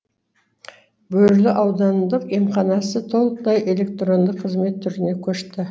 бөрлі аудандық емханасы толықтай электронды қызмет түріне көшті